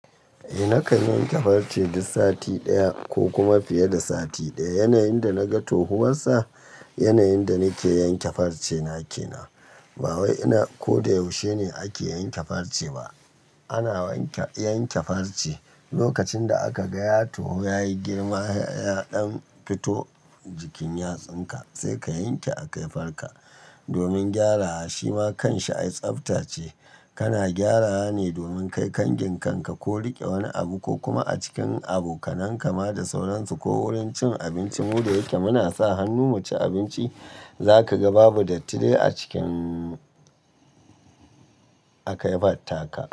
Eh nakan yanke farce duk sati daya, ko kuma fiye da sati daya. Yanayin da na ga tohuwarsa, yanayin da nake yanke farce na kenan. Ba wai ina ko da yaushe ne ake yanke farce ba. Ana yanke farce lokacin da aka ga yayi girma ya ɗan fito jikin yatsan ka, sai ka yanke a kafar ka, domin gyarawa. Shima kanshi ai tsafta ce, kana gyarawa ne domin kai kangin kanka ko riƙe wani abu, ko kuma a cikin abokanan ka ma da sauransu, ko wurin cin abinci. Mu da yake muna sa hannu mu ci abinci za ka ga babu datti de a cikin, akaifatta ka.